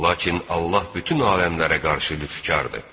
Lakin Allah bütün aləmlərə qarşı lütfkardır.